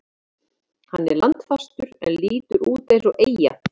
Hann er landfastur en lítur út eins og eyja.